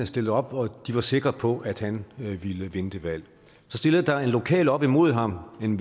stillede op og de var sikre på at han ville vinde det valg så stillede der en lokal op imod ham en